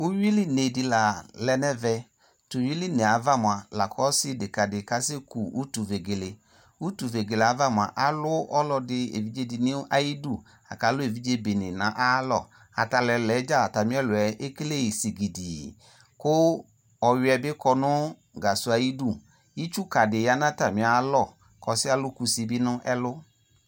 Uwili ne de la lɛ no ɛvɛ To uwili ne ava moa la ko ɔse deka de kasɛ ku utuvegele Utuvegele ava moa alu ɔlɔde, evidze de no ayudu lako alu evidze bene no ayalɔ Ata lu ɛɔa dza atame aluɛ ekele sigidii ko ɔwiɛ be kɔ no gasɔ ayudu Itsuka de ya no atame alɔ ko ɔsiɛ alu kusi be no ɛlu